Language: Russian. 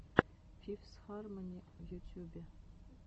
фифс хармони в ютюбе